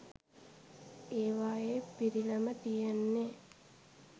ඒවායේ පිරිලම තියෙන්නේ